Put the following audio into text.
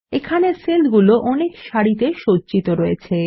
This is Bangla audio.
এখানে সেলগুলো অনেক সারিতে সজ্জিত রয়েছে